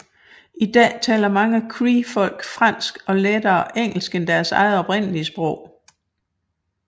I dag taler mange creefolk fransk og engelsk lettere end deres oprindelige sprog